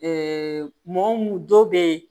mɔgɔ mun dɔ be yen